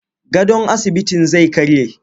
Gadon asibitin zai karye.